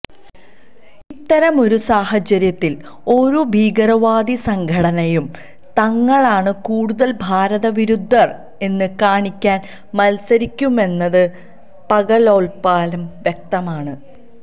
ഇത്തരം ഒരു സാഹചര്യത്തില് ഓരോ ഭീകരവാദി സംഘടനയും തങ്ങളാണ് കൂടുതല് ഭാരതവിരുദ്ധര് എന്നു കാണിക്കാന് മത്സരിക്കുമെന്നത് പകല്പോലെ വ്യക്തമാണ്